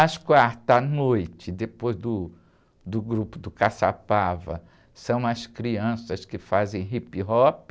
Às quartas à noite, depois do, do grupo do Caçapava, são as crianças que fazem hip-hop.